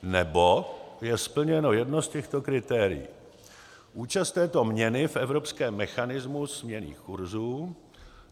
nebo je splněno jedno z těchto kritérií: účast této měny v evropském mechanismu směnných kurzů;